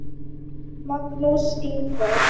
Magnús Ingvar.